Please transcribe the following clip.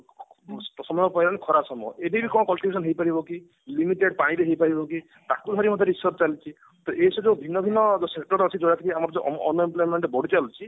ସମୟ ପଳେଇଲା ଖରା ସମୟ ଏବେ ବି କଣ conclusion ହେଇ ପାରିବ କି limited ପାଣିରେ ହେଇପାରିବ କି ତାକୁ ଧରି research ଚାଲିଛି ତ ଏସବୁ ଭିନ୍ନଭିନ୍ନ sector ଅଛି ଆମର ଯୋଉ ଅ unemployment ବଢି ଚାଲୁଛି